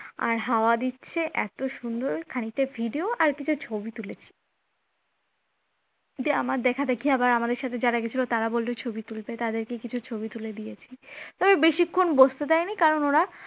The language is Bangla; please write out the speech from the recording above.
আর হাওয়া দিচ্ছে এত সুন্দর খানিকটা video আর কিছু ছবি তুলেছে এতে আমার দেখাদেখি আবার আমাদের সাথে যারা গেছিল তারা বলল ছবি তুলতে তাদেরকে কিছু ছবি তুলে দিয়েছি, তবে বেশিক্ষণ বসতে দেয়নি কারণ